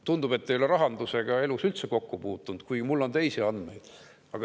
Tundub, et te ei ole oma elus rahandusega üldse kokku puutunud, kuigi mul on teisi andmeid.